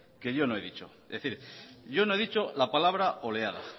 que yo no he dicho es decir yo no he dicho la palabra oleada